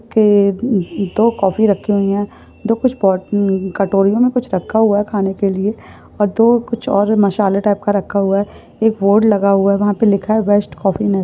के-ए दो काफी रखे हुए हैं दो कुछ पट उम कटोरि में कुछ रखा हुआ खाने के लिए। और दो कुछ और मसाले टाइप का रखा हुआ है एक बोर्ड लगा हुआ है। उहापे लिखा हूआ हे बेस्ट कफि मे--